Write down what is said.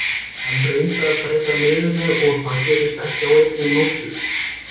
Hann reyndi að breyta liðinu og það gerist ekki á einni nóttu.